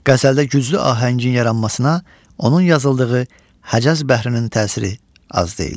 Qəzəldə güclü ahəngin yaranmasına, onun yazıldığı Həcəz bəhrinin təsiri az deyildir.